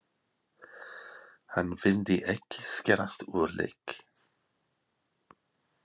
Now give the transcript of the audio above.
Hann vildi ekki skerast úr leik.